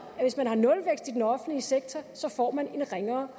at hvis man har nulvækst i den offentlige sektor får man en ringere